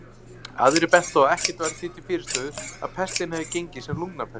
Aðrir bentu á að ekkert væri því til fyrirstöðu að pestin hefði gengið sem lungnapest.